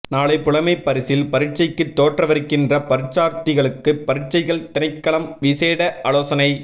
நாளை புலமைப் பரிசில் பரீட்சைக்கு தோற்றவிருக்கின்ற பரீட்சார்த்திகளுக்கு பரீட்சைகள் திணைக்களம் விசேட ஆலோசனை